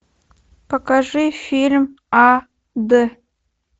покажи фильм ад